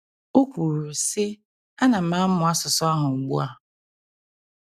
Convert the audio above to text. O kwuru, sị: Ana m amụ asụsụ ahụ ugbu a.